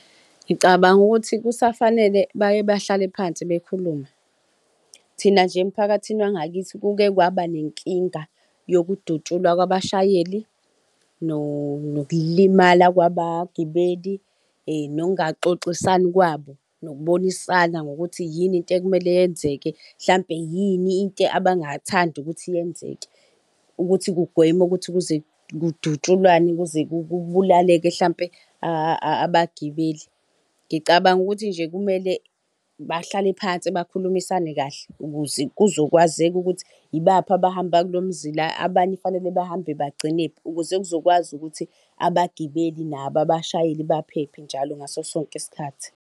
Ngicabanga ukuthi kusafanele baye bahlale phansi bekhulume. Thina nje emphakathini wangakithi kuke kwaba nenkinga yokudutshulwa kabashayeli nokulimala kwabagibeli, nokungaxoxisani kwabo nokubonisana ngokuthi yini into ebekumele yenzeke mhlampe yini into abangathanda ukuthi yenzeke ukuthi kugweme ukuthi kuze kudutshulwane kuze kubulaleke mhlampe abagibeli. Ngicabanga ukuthi nje kumele bahlale phansi bakhulumisane kahle ukuze kuzokwazeka ukuthi ibaphi abahamba kulo mzila, abanye kufanele bahambe bagcinephi ukuze kuzokwazi ukuthi abagibeli nabo abashayeli baphephe njalo ngaso sonke isikhathi.